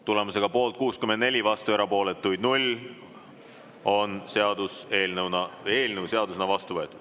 Tulemusega poolt 64, vastu ja erapooletuid null, on eelnõu seadusena vastu võetud.